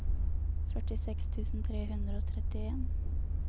førtiseks tusen tre hundre og trettien